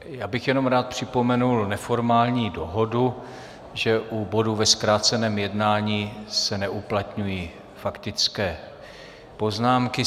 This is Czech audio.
Já bych jenom rád připomněl neformální dohodu, že u bodu ve zkráceném jednání se neuplatňují faktické poznámky.